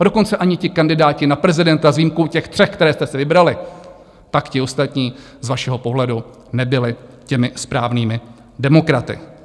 A dokonce ani ti kandidáti na prezidenta s výjimkou těch tří, které jste si vybrali, tak ti ostatní z vašeho pohledu nebyli těmi správnými demokraty.